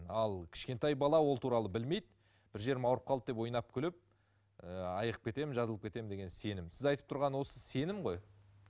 ал кішкентай бала ол туралы білмейді бір жерім ауырып қалды деп ойнап күліп ы айығып кетемін жазылып кетемін деген сенім сіз айтып тұрған осы сенім ғой